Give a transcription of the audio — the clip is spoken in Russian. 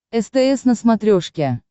стс на смотрешке